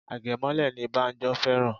Agemole ni Banjo fẹ́ràn